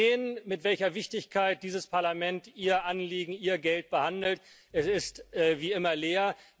Und Sie sehen, mit welcher Wichtigkeit dieses Parlament Ihr Anliegen, Ihr Geld behandelt Es ist wie immer leer.